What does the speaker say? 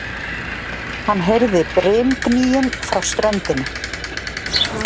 Hann heyrði brimgnýinn frá ströndinni.